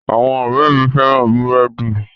Àwọn ọ̀rẹ́ẹ̀ mi féràn búrẹ́dì.